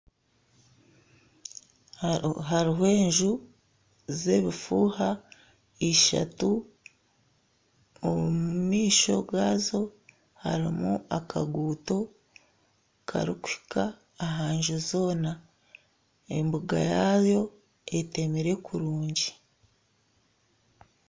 Hariho enju z'ebufuuha ishatu. Omu maisho gaazo harimu akaguuto karikuhika aha nju zoona. Embuga yaayo etemire kurungi.